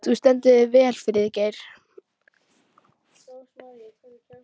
Þú stendur þig vel, Friðgeir!